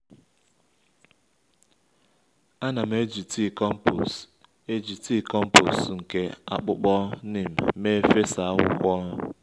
a na m eji tii kompos eji tii kompos nke akpụkpọ neem mee fesa akwukwo